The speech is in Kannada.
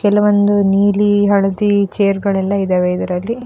ಕೆಲವೊಂದು ನೀಲಿ ಹಳದಿ ಚೇರ್ ಗಳೆಲ್ಲ ಇದ್ದವೇ ಇದ್ರಲ್ಲಿ-